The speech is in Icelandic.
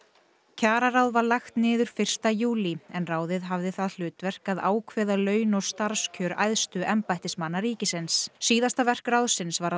kjararáð var lagt niður fyrsta júlí en ráðið hafði það hlutverk að ákveða laun og starfskjör æðstu embættismanna ríkisins síðasta verk ráðsins var